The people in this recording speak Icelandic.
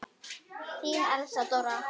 Þín Elsa Dóra.